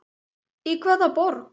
Í hvaða borg?